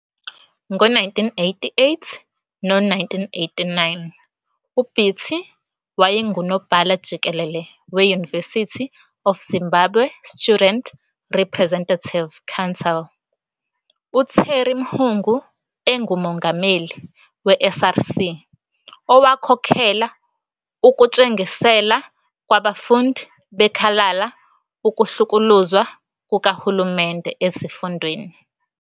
Ngo 1988 lo 1989, uBiti wayengunobhala jikelele weUniversity of Zimbabwe Student Representative Council, uTerry Mhungu engumongameli weSRC, owakhokhela ukutshengisela kwabafundi bekhalala ukuhlukuluzwa kukahulumende ezifundweni.